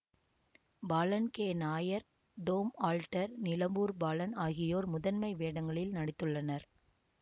Balan K Nair Tom Alter Nilambur Balan ஆகியோர் முதன்மை வேடங்களில் நடித்துள்ளனர்